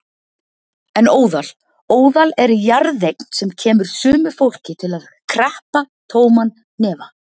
En óðal. óðal er jarðeign sem kemur sumu fólki til að kreppa tóman hnefa.